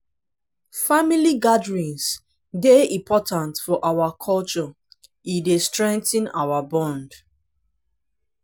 family gatherings dey important for our culture e dey strengthen our bond.